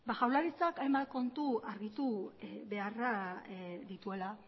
jaurlaritzak hainbat kontu argitu beharra dituela